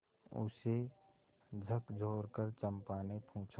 उसे झकझोरकर चंपा ने पूछा